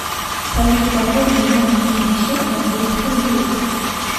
салют пополни мой мобильный счет на двести рублей